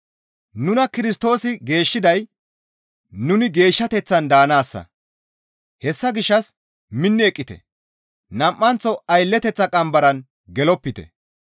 Nuna Kirstoosi geeshshiday nuni geeshshateththan daanaassa; hessa gishshas minni eqqite; nam7anththo aylleteththa qambaran gelopite.